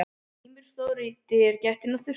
Grímur stóð í dyragættinni á þurrkhúsinu.